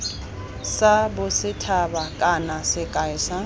sa bosethaba kana sekai sa